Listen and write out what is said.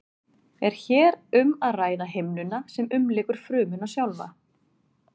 er hér um að ræða himnuna sem umlykur frumuna sjálfa